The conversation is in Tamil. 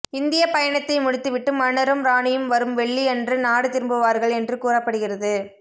இந்திய பயணத்தை முடித்துவிட்டு மன்னரும் ராணியும் வரும் வெள்ளியன்று நாடு திரும்புவார்கள் என்று கூறப்படுகிறது